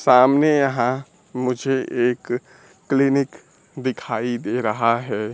सामने यहां मुझे एक क्लीनिक दिखाई दे रहा है।